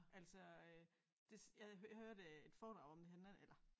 Altså øh det jeg jeg hørte et foredrag om det her den anden eller